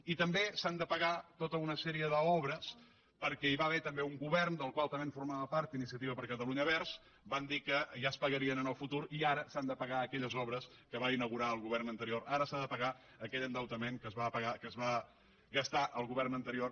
i també s’han de pagar tota una sèrie d’obres perquè hi va haver també un govern del qual també formava part iniciativa per catalunya verds que va dir que ja es pagarien en el futur i ara s’han de pagar aquelles obres que va inaugurar el govern anterior ara s’ha de pagar aquell endeutament que es va gastar el govern anterior